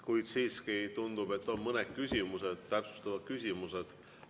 Kuid siiski tundub, et on mõned küsimused, täpsustavad küsimused.